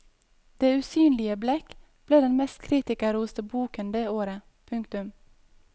Det usynlige blekk ble den mest kritikerroste boken det året. punktum